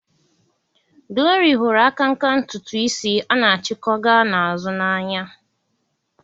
Glory hụrụ akanka ntutu isi a na-achiko gaa na-azụ na-anya.